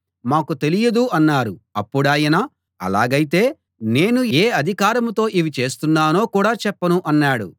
మాకు తెలియదు అన్నారు అప్పుడాయన అలాగైతే నేను ఏ అధికారంతో ఇవి చేస్తున్నానో కూడా చెప్పను అన్నాడు